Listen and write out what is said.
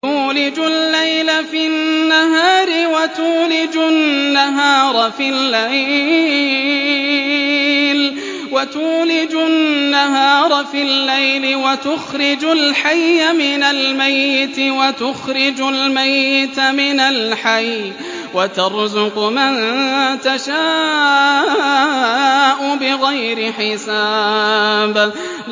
تُولِجُ اللَّيْلَ فِي النَّهَارِ وَتُولِجُ النَّهَارَ فِي اللَّيْلِ ۖ وَتُخْرِجُ الْحَيَّ مِنَ الْمَيِّتِ وَتُخْرِجُ الْمَيِّتَ مِنَ الْحَيِّ ۖ وَتَرْزُقُ مَن تَشَاءُ بِغَيْرِ حِسَابٍ